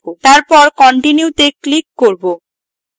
তারপর continue তে click করব